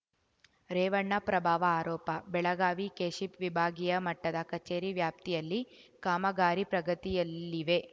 ರೇವಣ್ಣ ಪ್ರಭಾವ ಆರೋಪ ಬೆಳಗಾವಿ ಕೆಶಿಪ್‌ ವಿಭಾಗೀಯ ಮಟ್ಟದ ಕಚೇರಿ ವ್ಯಾಪ್ತಿಯಲ್ಲಿ ಕಾಮಗಾರಿ ಪ್ರಗತಿಯಲ್ಲಿವೆ